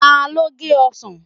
Ta ló gé ọsàn?